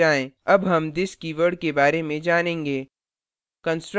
अब हम this keyword के बारे में जानेंगे